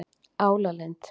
Álalind